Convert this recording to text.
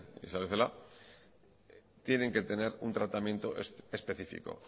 isabel celaá tienen que tener un tratamiento específico